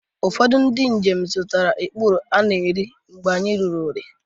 Ụfọdụ ndị njem zụtara ikpuru ana-erieri mgbe anyị ruru Ore